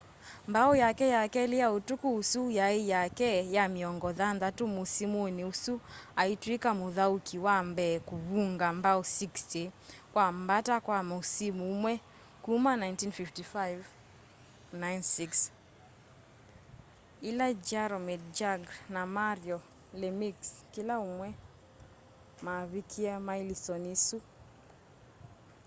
mbao yake ya keli ya utuku ũsu yai yake ya miongo thanthatu musimuni usu aitwika muthauki wa mbee kuvunga mbao 60 kwa mbata kwa musimu umwe kuma 1955-96 ila jaromir jagr na mario lemieux kila umwe mavikie mailistoni isu